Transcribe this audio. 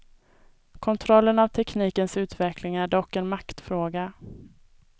Kontrollen av teknikens utveckling är dock en maktfråga.